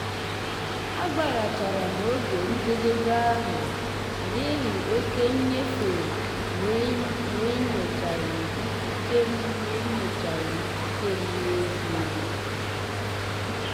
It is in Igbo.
agbaghara m oge njedebe ahụ n'ihi oke nnyefe n'enyochaghị ikike m n'enyochaghị ikike m n'ezie.